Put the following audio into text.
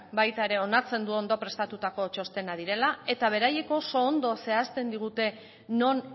baita ere onartzen du ondo prestatutako txostena direla eta beraiek oso ondo zehazten digute non